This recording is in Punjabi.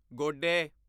ਗੋਡੇ